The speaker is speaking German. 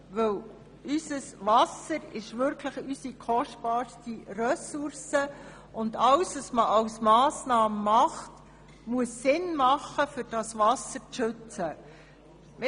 Unser Wasser ist wirklich unsere kostbarste Ressource und alle Massnahmen müssen Sinn machen, damit dieses Wasser geschützt wird.